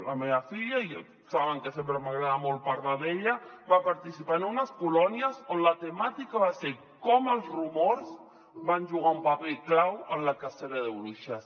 la meva filla saben que sempre m’agrada molt parlar d’ella va participar en unes colònies on la temàtica va ser com els rumors van jugar un paper clau en la cacera de bruixes